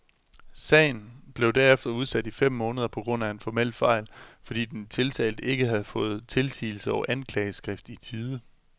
Sagen blev derefter udsat i fem måneder på grund af en formel fejl, fordi den tiltalte ikke havde fået tilsigelse og anklageskrift i tide.